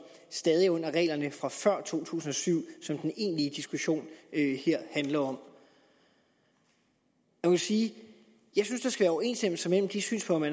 stadig er under reglerne fra før to tusind og syv som den egentlige diskussion her handler om jeg vil sige at jeg synes der skal være overensstemmelse mellem de synspunkter